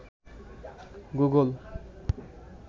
Google